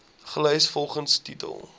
gelys volgens titel